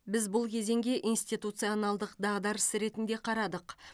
біз бұл кезеңге институционалдық дағдарыс ретінде қарадық